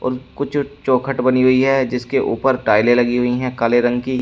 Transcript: और कुछ चौखट बनी हुई है जिसके ऊपर टाइलें लगी हुई है काले रंग की--